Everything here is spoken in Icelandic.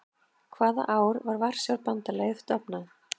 Hvaða ár var Varsjárbandalagið stofnað?